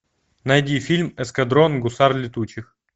найди фильм эскадрон гусар летучих